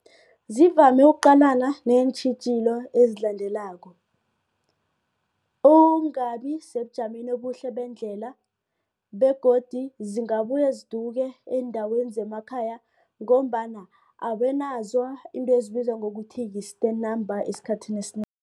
Zivame ukuqalana neentjhijilo ezilandelako, ukungabi sebujameni obuhle bendlela begodu zingabuye ziduke eendaweni zemakhaya ngombana abanazo izinto ezibizwa ngokuthi yi-stand number esikhathini